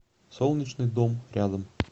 солнечный дом рядом